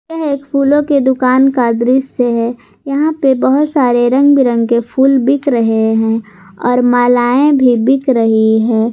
ये एक फूलों की दुकान का दृसय है यहां पे बहुत सारे रंग बिरंगे फूल बिक रहे हैं और मालाये भी बिक रही है।